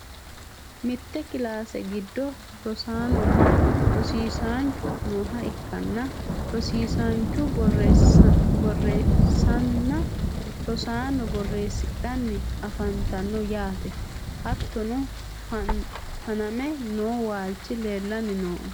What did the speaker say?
mitte kilaase giddo rosaanonna rosiisaanchu nooha ikkanna, rosiisaanchu borreessanna rosaanono borreessidhanni afantanno yaate. hattono faname noo waalchi leelanni no .